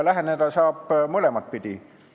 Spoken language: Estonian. Läheneda saab mõlemat pidi.